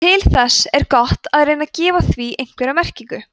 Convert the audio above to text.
til þess er gott að reyna að gefa því einhverja merkingu